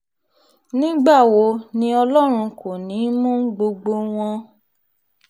nígbà wo ni ọlọ́run kò ní í mú gbogbo wọn